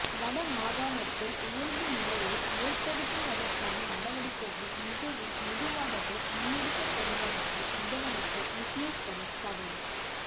வடமாகாணத்தில் இயல்பு நிலையை ஏற்படுத்துவதற்கான நடவடிக்கைகள் மிகவும் மெதுவாகவே முன்னெடுக்கப்படுவதாக முதலமைச்சர் விக்னேஸ்வரன் கவலை